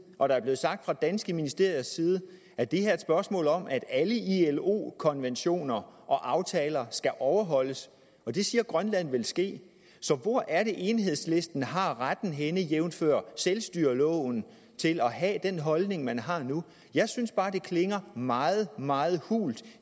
og der er blevet sagt fra danske ministeriers side at det her er et spørgsmål om at alle ilo konventioner aftaler skal overholdes og det siger grønland vil ske så hvor er det enhedslisten har retten jævnfør selvstyreloven til at have den holdning man har nu jeg synes bare det klinger meget meget hult at